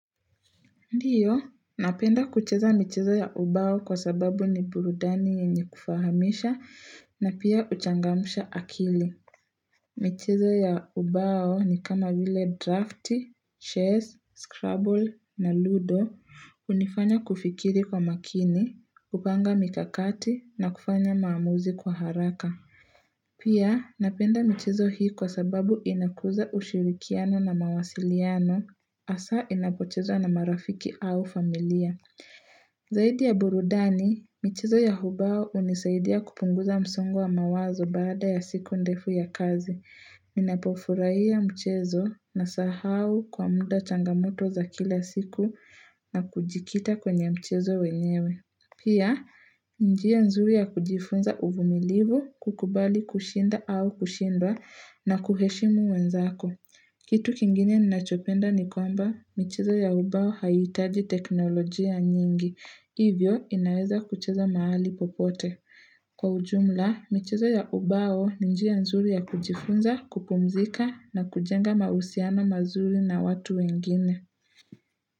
Ndio, napenda kucheza michezo ya ubao kwa sababu ni burudani yenye kufahamisha na pia huchangamsha akili. Michezo ya ubao ni kama vile drafti, shares, scrabble na ludo, hunifanya kufikiri kwa makini, upanga mikakati na kufanya maamuzi kwa haraka. Pia, napenda michezo hii kwa sababu inakuza ushirikiano na mawasiliano, asa inapochezwa na marafiki au familia. Zaidi ya burudani, michezo ya ubao unisaidia kupunguza msongo wa mawazo baada ya siku ndefu ya kazi. Ninapofurahia mchezo nasahau kwa muda changamoto za kila siku na kujikita kwenye mchezo wenyewe. Pia, njia nzuri ya kujifunza uvumilivu kukubali kushinda au kushindwa na kuheshimu wenzako. Kitu kingine ninachopenda ni kwamba, michezo ya ubao haitaji teknolojia nyingi. Hivyo, inaweza kucheza mahali popote. Kwa ujumla, michezo ya ubao ni njia nzuri ya kujifunza, kupumzika na kujenga mahusiano mazuri na watu wengine.